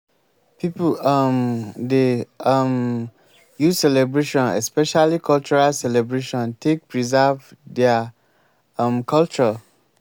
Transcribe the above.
pipo um dey um use celebration especially cultural celebration take preserve their um culture